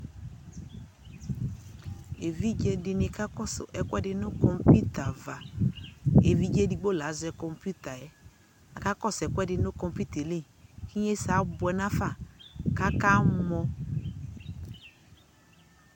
ɛvidzɛ dini kakɔsʋ ɛkʋɛdi nʋ kɔmpʋta aɣa, ɛvidzɛ ɛdigbɔ la azɛ kɔmpʋtaɛ, aka kɔsʋ ɛkʋɛdi nʋ kɔmpʋta ɛli, inyɛsɛ abʋɛ nʋ aƒa kʋ aka mɔ